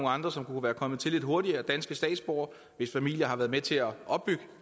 andre som kunne være kommet til lidt hurtigere altså danske statsborgere hvis familier har været med til at opbygge